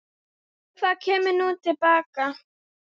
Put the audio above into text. Hvað kemur nú til baka?